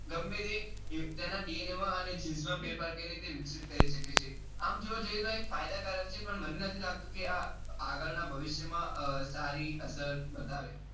ગમે તે તેના DNA માં અને genes માં ફેરફાર કરીને તે વિકસિત કરી શકે છે આમ જોવા જઈએ તો ફાયદા કારક છે. પણ મને નથી લાગતું કે આગળ ના ભવિષ્ય માં સારી અસર બતાવે